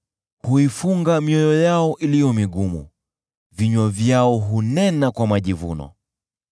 Huifunga mioyo yao iliyo migumu, vinywa vyao hunena kwa majivuno.